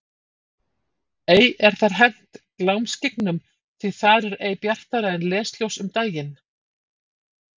Ei er þar hent glámskyggnum því þar er ei bjartara en lesljós um daginn.